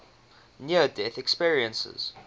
near death experiences